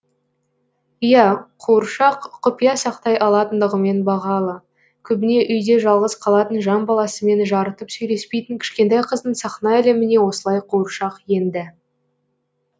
иә қуыршақ құпия сақтай алатындығымен бағалы көбіне үйде жалғыз қалатын жан баласымен жарытып сөйлеспейтін кішкентай қыздың сахна әлеміне осылай қуыршақ енді